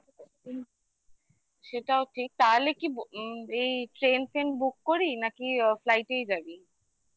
সেটাও ঠিক তাহলে কি এই train ফেন book করি নাকি flight এ যাবি?